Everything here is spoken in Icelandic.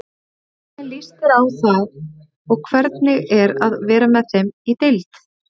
Hvernig líst ykkur á það og hvernig er að vera með þeim í deild?